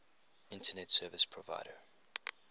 internet service provider